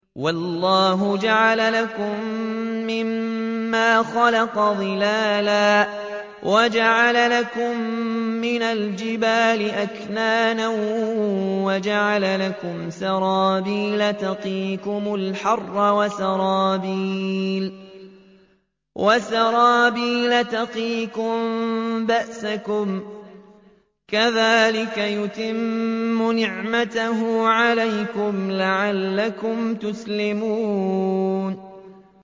وَاللَّهُ جَعَلَ لَكُم مِّمَّا خَلَقَ ظِلَالًا وَجَعَلَ لَكُم مِّنَ الْجِبَالِ أَكْنَانًا وَجَعَلَ لَكُمْ سَرَابِيلَ تَقِيكُمُ الْحَرَّ وَسَرَابِيلَ تَقِيكُم بَأْسَكُمْ ۚ كَذَٰلِكَ يُتِمُّ نِعْمَتَهُ عَلَيْكُمْ لَعَلَّكُمْ تُسْلِمُونَ